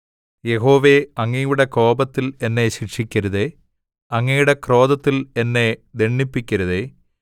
യഹോവേ അങ്ങയുടെ കോപത്തിൽ എന്നെ ശിക്ഷിക്കരുതേ അങ്ങയുടെ ക്രോധത്തിൽ എന്നെ ദണ്ഡിപ്പിക്കരുതേ